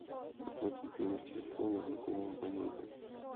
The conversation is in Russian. оплатить номер телефона знакомого абонента